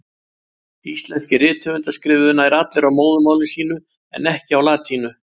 Íslenskir rithöfundar skrifuðu nær allir á móðurmáli sínu, en ekki á latínu.